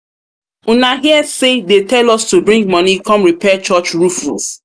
una hear say um they tell us to bring money come repair church roof roof? um